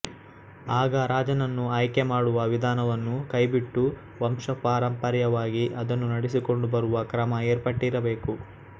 ಆಗ ರಾಜನನ್ನು ಆಯ್ಕೆ ಮಾಡುವ ವಿಧಾನವನ್ನು ಕೈಬಿಟ್ಟು ವಂಶಪಾರಂಪರ್ಯವಾಗಿ ಅದನ್ನು ನಡೆಸಿಕೊಂಡು ಬರುವ ಕ್ರಮ ಏರ್ಪಟ್ಟಿರಬೇಕು